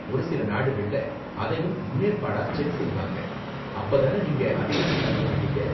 ஒரு சில நாடுகள்ல அதையும் முன்னேற்பாடா செக் செய்வாங்க, அப்ப தான நீங்க அதிக நாள் தங்க மாட்டீங்க.